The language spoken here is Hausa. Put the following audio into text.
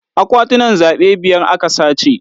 Akwatunan zaɓe biyar a ka sace.